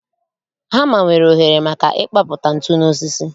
Hama nwere oghere maka ịkpapụta ntu n'osisi